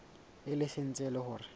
e leng se etsang hore